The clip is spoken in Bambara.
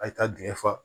A ye taa dingɛ fa